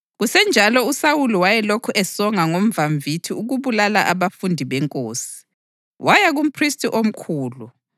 Kusenjalo, uSawuli wayelokhu esonga ngomvamvithi ukubulala abafundi beNkosi. Waya kuMphristi omkhulu